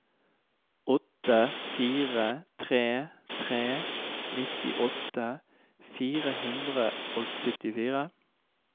åtte fire tre tre nittiåtte fire hundre og syttifire